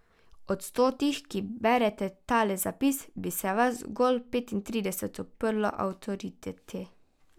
Od stotih, ki berete tale zapis, bi se vas zgolj petintrideset uprlo avtoriteti.